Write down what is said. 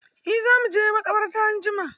Eh za mu je maƙabarta anjima.